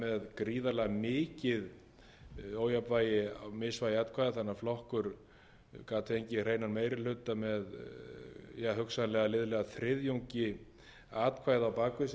þannig að flokkur gat fengið hreinan meiri hluta með hugsanlega liðlega þriðjungi atkvæða á bak við sig eftir því hvernig atkvæði féllu í